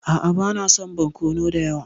A'a bana son barkono dayawa.